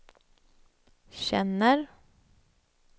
känner